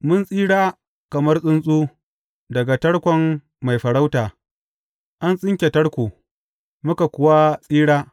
Mun tsira kamar tsuntsu daga tarkon mai farauta; an tsinke tarko, muka kuwa tsira.